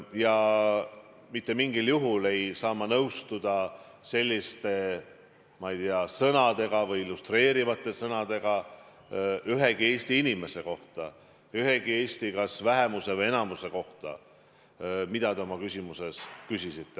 Ja mitte mingil juhul ei saa ma nõustuda selliste, ma ei tea, illustreerivate sõnadega ühegi Eesti inimese kohta, ühegi Eesti vähemuse või enamuse kohta, nagu te oma küsimuses viitasite.